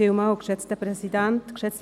Frau de Meuron, Sie haben das Wort.